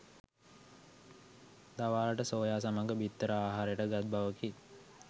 දවාලට soya සමග බිත්තර ආහාරයට ගත් බවකි